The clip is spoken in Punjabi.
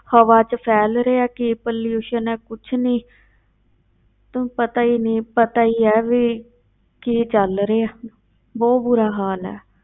ਹਵਾ ਵਿੱਚ ਫੈਲ ਰਿਹਾ ਹੈ ਕੀ pollution ਹੈ ਕੁਛ ਨੀ ਤਾਂ ਪਤਾ ਹੀ ਨੀ, ਪਤਾ ਹੀ ਹੈ ਵੀ ਕੀ ਚੱਲ ਰਿਹਾ ਬਹੁਤ ਬੁਰਾ ਹਾਲ ਹੈ।